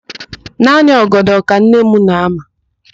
Naanị ọgọdọ ka nne m na-ama.